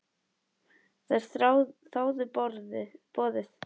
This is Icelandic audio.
Þær þáðu boðið.